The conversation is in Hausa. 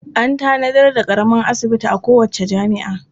An tanadar daƙaramin asibiti a kowace jami'a.